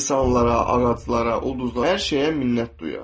İnsanlara, ağaclara, ulduzlara, hər şeyə minnət duyar.